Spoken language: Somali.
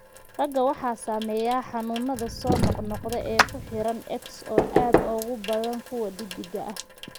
Ragga waxaa saameeya xanuunada soo noqnoqda ee ku xiran X oo aad uga badan kuwa dheddigga ah.